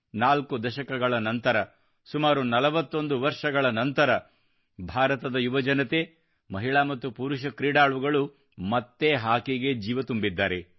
ನಾಲ್ಕು ದಶಕಗಳ ನಂತರ ಸುಮಾರು 41 ವರ್ಷಗಳ ನಂತರ ಭಾರತದ ಯುವಜನತೆ ಮಹಿಳಾ ಮತ್ತು ಪುರುಷ ಕ್ರೀಡಾಳುಗಳು ಮತ್ತೆ ಹಾಕಿಗೆ ಜೀವ ತುಂಬಿದ್ದಾರೆ